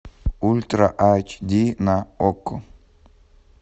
ультра айч ди на окко